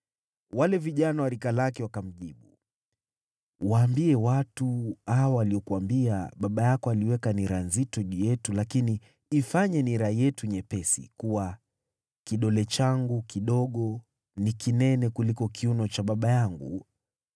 Wale vijana wa rika lake wakamjibu, “Waambie watu hawa waliokuambia, ‘Baba yako aliweka nira nzito juu yetu, lakini ifanye nira yetu nyepesi,’ kuwa, ‘Kidole changu kidogo ni kinene kuliko kiuno cha baba yangu.